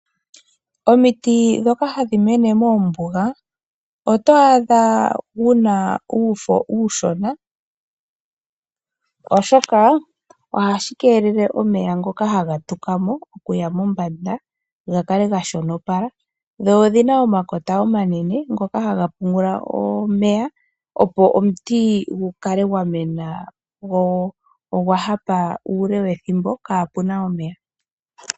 Omiti dhoka hadhi mene mombuga oto adha dhina uufo uushona, oshoka ohashi kelele omeya ngoka haga tukamo okuya mombanda gakale gashonopala. Dho odhina omakota omanene ngoka haga pungula omeya opo omuti gu kale gwamena gwo ogwa hapa ule wethimbo kapuna omeya.